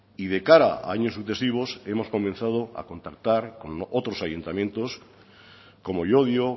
y de cara a años sucesivos hemos comenzado a contactar con otros ayuntamientos como llodio